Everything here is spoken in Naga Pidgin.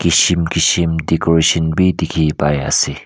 kism kism decoration bhi dikhi pai ase.